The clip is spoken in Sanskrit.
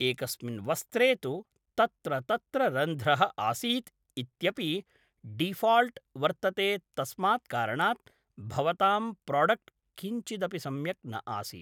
एकस्मिन् वस्त्रे तु तत्र तत्र रन्ध्रः आसीत् इत्यपि डिफ़ाल्ट् वर्तते तस्मात् कारणात् भवताम् प्रोडक्ट् किञ्चिदपि सम्यक् न आसीत्